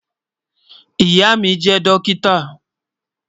Ìyà mi jẹ dọ́kítà.